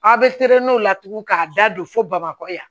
Aw bɛ o la tugun k'a da don fo bamakɔ yan